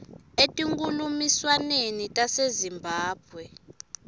etinkhulumiswaneni tase zimbabwe